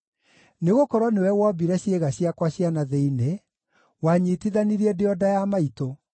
Nĩgũkorwo nĩwe wombire ciĩga ciakwa cia na thĩinĩ; wanyiitithanirie ndĩ o nda ya maitũ.